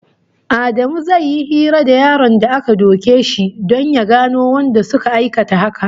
Adamu zai yi hira da yaron da aka duke shi don ya gano wanda suka aikata haka